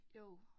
Jo